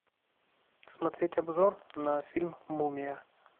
смотреть обзор на фильм мумия